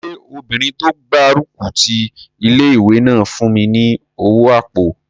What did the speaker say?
Ṣé obìnrin tó gbárùkù ti ilé-ìwé náà fún mi ní owó àpò?